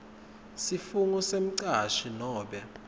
sifungo semcashi nobe